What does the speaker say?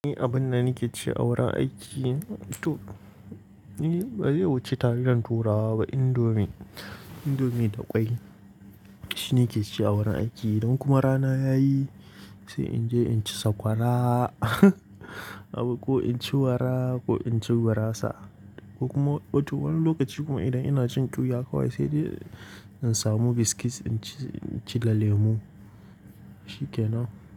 Ni abin da ni ke ci a wurin aiki, to ni ba zai wuce taliyan turawa ba, indomie, indomie da ƙwai. Shine ke ci a wurin aiki. Don kuma rana yayi sai in je in ci sakwara ko in ci wara ko in ci gurasa. Ko kuma wani lokaci kuma idan ina jin ƙyuya kawai saidai in samu biscuits in ci, in ci da lemu. Shikenan.